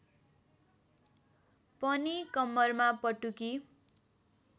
पनि कम्मरमा पटुकी